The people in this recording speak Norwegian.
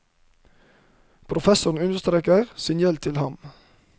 Professoren understreker sin gjeld til ham.